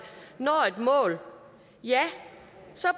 når et mål